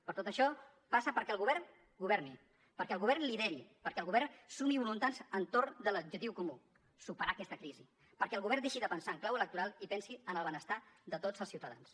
però tot això passa perquè el govern governi perquè el govern lideri perquè el govern sumi voluntats entorn de l’objectiu comú superar aquesta crisi perquè el govern deixi de pensar en clau electoral i pensi en el benestar de tots els ciutadans